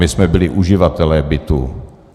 My jsme byli uživatelé bytů.